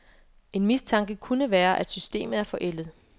En mistanke kunne være, at systemet er forældet.